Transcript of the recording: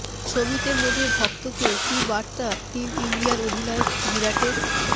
ছবিতে মজে ভক্তকে কী বার্তা টিম ইন্ডিয়ার অধিনায়ক বিরাটের